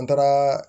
An taara